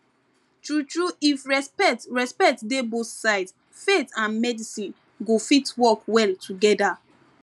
true true if respect respect dey both sides faith and medicine go fit work well together